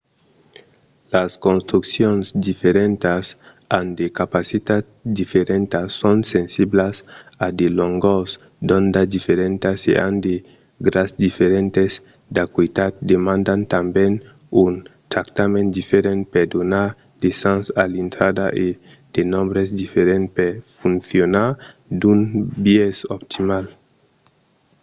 las construccions diferentas an de capacitats diferentas son sensiblas a de longors d'onda diferentas e an de gras diferents d'acuitat demandan tanben un tractament diferent per donar de sens a l'intrada e de nombres diferents per foncionar d'un biais optimal